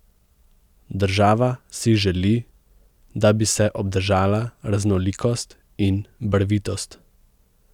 Država si želi, da bi se obdržala raznolikost in barvitost.